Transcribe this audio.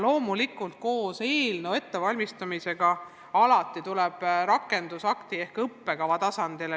Loomulikult tekib eelnõu ettevalmistamisega seoses alati hulk küsimusi rakendusakti ehk õppekava tasandil.